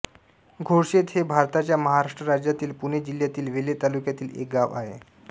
घोडशेत हे भारताच्या महाराष्ट्र राज्यातील पुणे जिल्ह्यातील वेल्हे तालुक्यातील एक गाव आहे